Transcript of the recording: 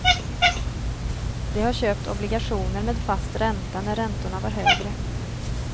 De har köpt obligationer med fast ränta när räntorna var högre.